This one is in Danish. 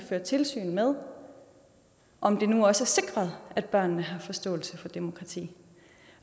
føre tilsyn med om det nu også er sikret at børnene har forståelse for demokrati